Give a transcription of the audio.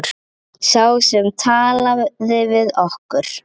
Sá sem talaði við okkur.